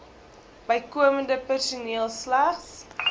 bykomende personeel slegs